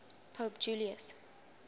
pope julius